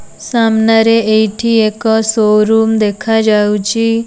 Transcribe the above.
ସାମ୍ନାରେ ଏଇଠି ଏକ ଶୋ ରୁମ୍ ଦେଖାଯାଉଚି।